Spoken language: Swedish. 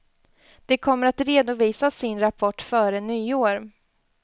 De kommer att redovisa sin rapport före nyår.